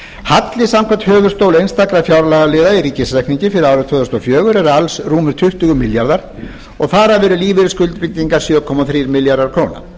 halli samkvæmt höfuðstól einstakra fjárlagaliða í ríkisreikningi fyrir árið tvö þúsund og fjögur er alls rúmir tuttugu milljarðar og þar af eru lífeyrisskuldbindingar sjö komma þrír milljarðar króna